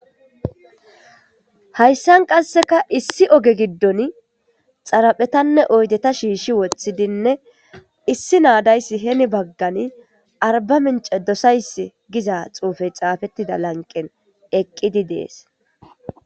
Hayssan qasseka issi oge giddon xaraphetanne oydeta shiishi woththidinne issi naadayssi heni baggani arba mince dosays giza xuufey xaafettida lanqen eqqidi dees.